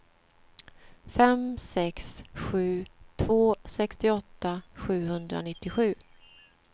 fem sex sju två sextioåtta sjuhundranittiosju